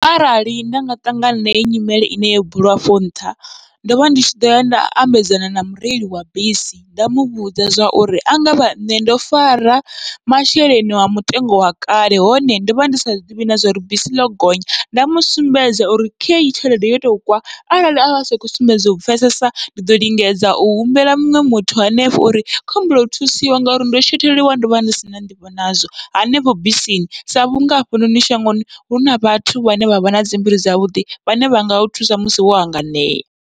Arali nda nga ṱangana na heyi nyimele ine yo buliwa afho nṱha, ndovha ndi tshi ḓoya nda ambedzana na mureli wa bisi nda muvhudza zwauri angavha nṋe ndo fara masheleni wa mutengo wa kale hone ndovha ndi sa zwiḓivhi na zwauri bisi ḽo gonya, nda musumbedza uri khei tshelede yo tou kwa. Arali asa khou sumbedza u pfhesesa ndi ḓo lingedza u humbela muṅwe muthu hanefho uri khou humbela u thusiwa ngauri ndo shotheliwa ndovha ndi sina nḓivho nazwo hanefho bisini, sa vhunga hafhanoni shangoni huna vhathu vhane vha vha nadzi mbilu dzavhuḓi vhane vha ngau thusa musi wo hanganea.